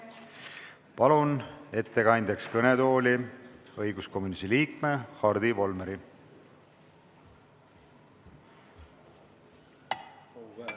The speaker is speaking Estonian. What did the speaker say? Palun ettekandeks kõnetooli õiguskomisjoni liikme Hardi Volmeri!